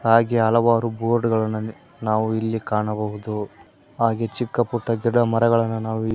ಹಾಗೆ ಹಲವಾರು ಬೋರ್ಡ್ಗಳನ್ನ ನಾವು ಇಲ್ಲಿ ಕಾಣಬಹುದು ಹಾಗೆ ಚಿಕ್ಕ ಪುಟ್ಟ ಗಿಡಮರಗಳನ್ನ ನಾವು ಇ--